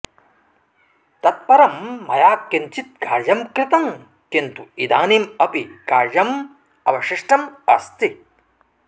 तत् परं मया किञ्चित् कार्यं कृतं किन्तु इदानीम् अपि कार्यम् अवशिष्टम् अस्ति